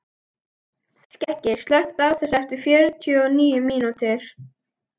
Skeggi, slökktu á þessu eftir fjörutíu og níu mínútur.